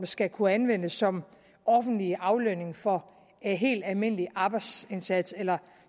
skal kunne anvendes som offentlig aflønning for en helt almindelig arbejdsindsats eller